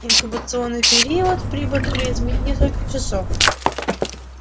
инкубационный период при ботулизме несколько часов